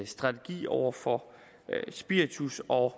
strategi over for spiritus og